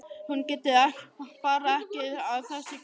Hún getur bara ekki að þessu gert.